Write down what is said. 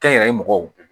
Kɛnyɛrɛye mɔgɔw